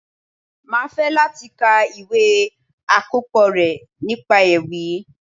Máa fẹ́ láti ka ìwé àkópọ̀ rẹ nípa ewì.